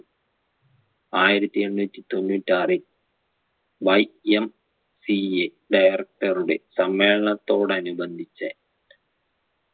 ആയിരത്തി എണ്ണൂറ്റി തൊണ്ണൂറ്റാറിൽ YMCAdirector റുടെ സമ്മേളനത്തോടനുബന്ധിച്ച്